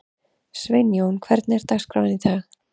Sveinjón, hvernig er dagskráin í dag?